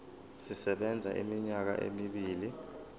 sisebenza iminyaka emibili